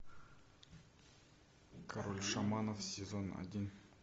король шаманов сезон один